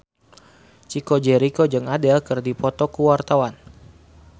Chico Jericho jeung Adele keur dipoto ku wartawan